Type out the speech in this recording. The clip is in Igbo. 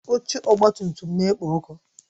Oche ọgba tum tum na-ekpo ọkụ